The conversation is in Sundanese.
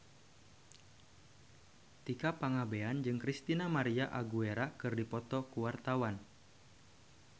Tika Pangabean jeung Christina María Aguilera keur dipoto ku wartawan